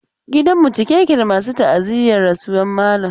Gidan mu a cike yake da masu ta'aziyyar rasuwar malam.